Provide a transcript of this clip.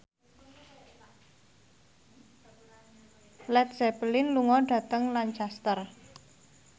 Led Zeppelin lunga dhateng Lancaster